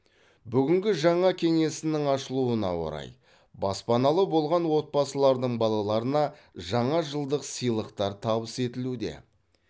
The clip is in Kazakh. бүгінгі жаңа кеңсенің ашылуына орай баспаналы болған отбасылардың балаларына жаңа жылдық сыйлықтар табыс етілуде